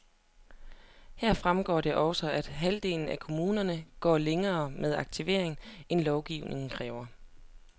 Her fremgår det også, at over halvdelen af kommunerne, går længere med aktivering, end lovgivningen kræver.